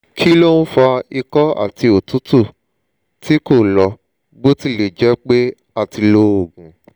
ki lo n fa iko ati otutu ti ko lo botilejepe a ti lo oogun